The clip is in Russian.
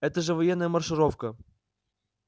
это же военная маршировка